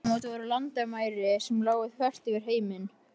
Þessi aldamót voru landamæri sem lágu þvert yfir heiminn.